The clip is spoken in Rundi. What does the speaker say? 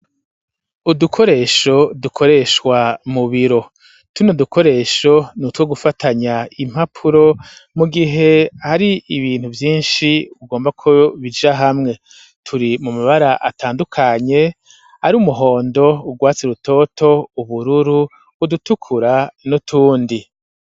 Udukoresho dukoeshwa mu biro. Tuno dukoresho dukoreshwa nko gufatanya impapuro mu gihe ari ibintu vyinshi ugomba ko bija hamwe. Turi mu mabara atandukanye ari umuhondo, udutukura, ugwatsi rutoto n'utundi.